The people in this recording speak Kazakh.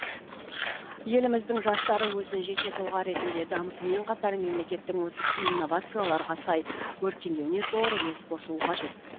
еліміздің жастары өзін жеке тұлға ретінде дамытумен қатар мемлекеттің озық инновацияларға сай өркендеуіне зор үлес қосуы қажет